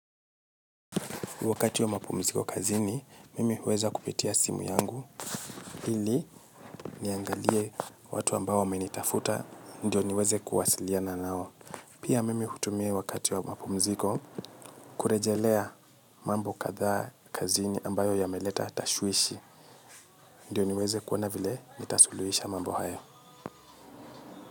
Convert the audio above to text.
Wakati wa mapumziko kazini, mimi huweza kupitia simu yangu, hili niangalie watu ambayo wamenitafuta, ndio niweze kuwasiliana nao. Pia mimi hutumia wakati wa mapumziko kurejelea mambo kadhaa kazini ambayo ya meleta tashuishi, ndio niweze kuona vile ni tasuluisha mambo hayo.